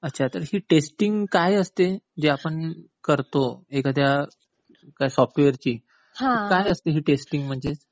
अच्छा. तर ही टेस्टिंग काय असते? जे आपण करतो एखाद्या काय सॉफ्टवेअरची, तर काय असते ही टेस्टिंग म्हणजे?